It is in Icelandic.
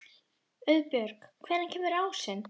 Auðbjörg, hvenær kemur ásinn?